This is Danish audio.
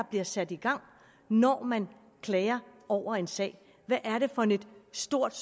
bliver sat i gang når man klager over en sag hvad er det for et stort